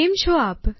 કેમ છો આપ